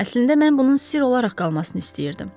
Əslində mən bunun sir olaraq qalmasını istəyirdim.